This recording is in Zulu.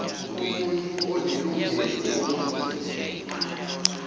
umuntu onelungelo lokondliwa